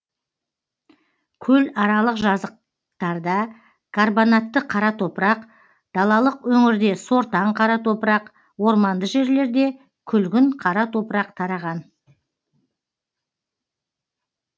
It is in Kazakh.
көларалық жазықтарда карбонатты қара топырақ далалық өңірде сортаң қара топырақ орманды жерлерде күлгін қара топырақ тараған